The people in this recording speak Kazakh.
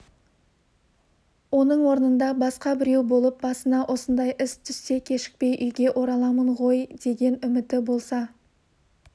оның орнында басқа біреу болып басына осындай іс түссе кешікпей үйге ораламын ғой деген үміті болса